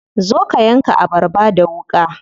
Zo ka yanka abarba da wuƙa.